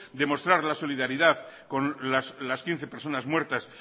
de demostrar la solidaridad con las quince personas muertas